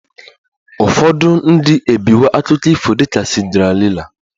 Ụfọdụ ndị ebiwo akụkọ ifo dị ka Cinderella